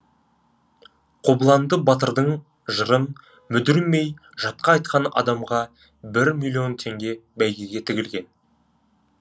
қобыланды батырдың жырын мүдірмей жатқа айтқан адамға бір миллион теңге бәйге тігілген